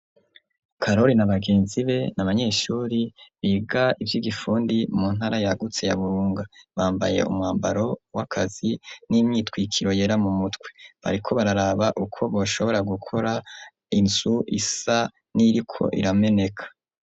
Karori na bagenzi be n'abanyeshuri biga iby'igifundi mu ntara yagutse ya burunga bambaye umwambaro w'akazi n'imyitwikiro yera mu mutwe bariko bararaba uko boshobora gukora inzu isa n'iriko irameneka.